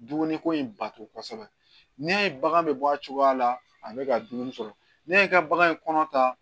Dumuni ko in bato kosɛbɛ ne y'a ye bagan bɛ bɔ a cogoya la a bɛ ka dumuni sɔrɔ ne y'i ka bagan kɔnɔ ta